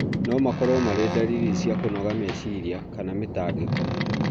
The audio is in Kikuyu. no makorũo marĩ ndariri cia kũnoga meciria kana mĩtangĩko.